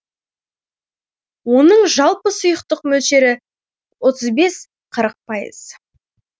оның жалпы сұйықтық мөлшері отыз бес қырық пайыз